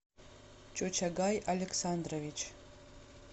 чучагай александрович